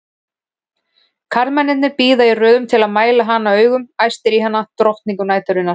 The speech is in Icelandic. Karlmennirnir bíða í röðum til að mæla hana augum, æstir í hana, drottningu næturinnar!